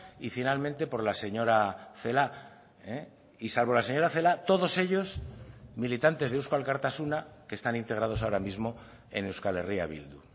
y finalmente por la señora celaá y salvo la señora celaá todos ellos militantes de eusko alkartasuna que están integrados ahora mismo en euskal herria bildu